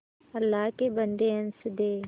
अल्लाह के बन्दे हंस दे